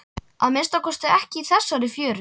Að minnsta kosti ekki í þessari fjöru.